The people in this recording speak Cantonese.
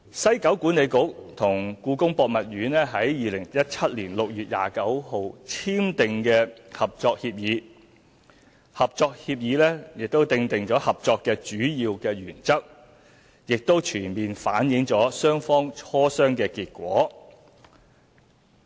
西九管理局與故宮博物院在2017年6月29日簽訂《合作協議》，《合作協議》訂定合作的主要原則，已全面反映雙方磋商的結果。